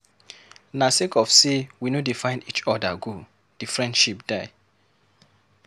Na sake of sey we no dey find eachother go di friendship die.